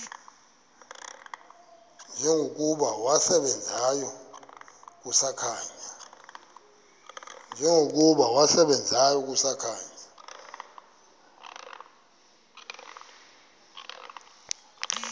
njengokuba wasebenzayo kusakhanya